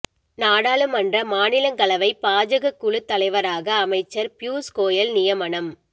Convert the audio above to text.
நாடாளுமன்ற மாநிலங்களவை பாஜக குழு தலைவராக அமைச்சர் பியுஷ் கோயல் நியமனம்